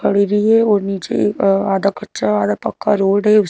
खड़े हुई है और नीचे एक आधा कच्चा आधा पक्का रोड है उस--